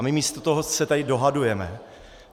A my místo toho se tady dohadujeme.